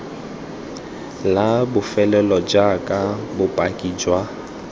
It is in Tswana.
la bofelo jaaka bopaki jwa